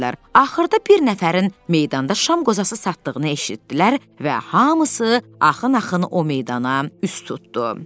Axırda bir nəfərin meydanda şam qozası satdığını eşitdilər və hamısı axın-axın o meydana üz tutdu.